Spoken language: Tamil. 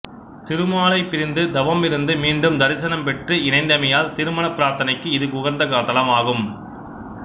திருமாலைப் பிரிந்து தவம் இருந்து மீண்டும் தரிசனம் பெற்று இணைந்தமையால் திருமணப் பிரார்த்தனைக்கு இது உகந்த தலமாகும்